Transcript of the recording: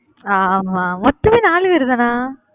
ஆமா ஆமா மொத்தமே நாலு பேரு தானா?